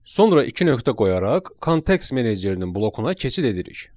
Sonra iki nöqtə qoyaraq kontekst menecerinin blokuna keçid edirik.